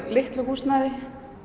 litlu húsnæði